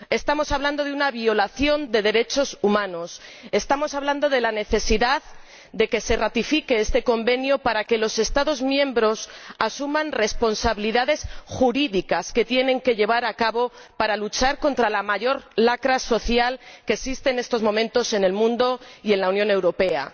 Estamos hablando de una violación de derechos humanos, de la necesidad de que se ratifique este Convenio para que los Estados miembros asuman responsabilidades jurídicas, que tienen que aplicar para luchar contra la mayor lacra social que existe en estos momentos en el mundo y en la Unión Europea.